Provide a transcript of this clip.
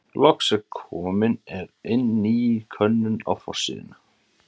Loks er komin er inn ný könnun á forsíðuna.